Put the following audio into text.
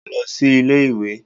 Mo lọ sí ilé ìwé.